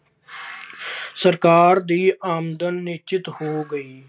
ਸਰਕਾਰ ਦੀ ਆਮਦਨ ਨਿਸ਼ਚਿਤ ਹੋ ਗਈ।